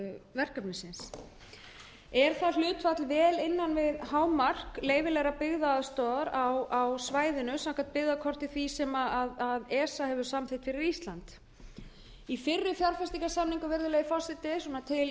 verkefnisins er það hlutfall vel innan við hámark leyfilegrar byggðaaðstoðar á svæðinu samkvæmt byggðakorti því sem esa hefur samþykkt fyrir ísland til samanburðar má geta þess að í fyrri fjárfestingarsamningum til dæmis